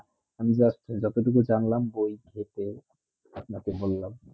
যত টুক জানলাম বইই ক্ষেত্রে আপ্নে কে বললাম